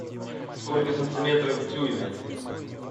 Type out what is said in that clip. сколько сантиметров в дюйме